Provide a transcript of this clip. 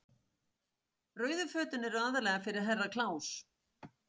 Rauðu fötin eru aðallega fyrir Herra Kláus.